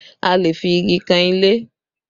A lè fi igi kan ilé